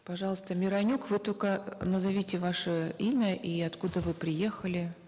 пожалуйста миронюк вы только э назовите ваше имя и откуда вы приехали